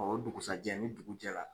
Ɔ o dugusa jɛ, ni dugu jɛra.